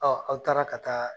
aw taara ka taa